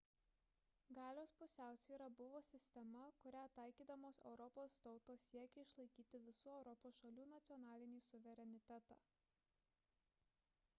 galios pusiausvyra buvo sistema kurią taikydamos europos tautos siekė išlaikyti visų europos šalių nacionalinį suverenitetą